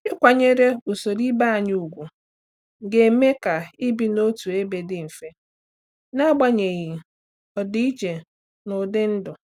Ịkwanyere usoro ibe anyị ùgwù ga-eme ka ibi n'otu ebe dị mfe n'agbanyeghị ọdịiche n'ụdị ndụ.